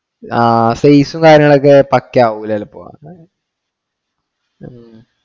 Large size മേലെ ഒക്കെ പാക്കയവുല്ല ചിലപ്പോ